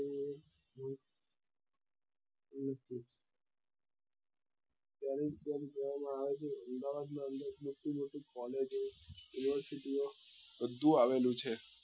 આવે છે અમદાવાદ ની અંદર મોટી મોટી collage ઓ university ઓ બધું આવેલું છે